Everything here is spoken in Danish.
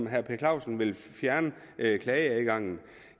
herre per clausen vil fjerne klageadgangen